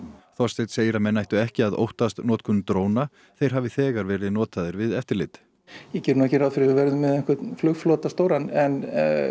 Þorsteinn segir að menn ættu ekki að óttast notkun dróna þeir hafi þegar verið notaðir við eftirlit ég geri nú ekki ráð fyrir að við verðum með flugflota stóran en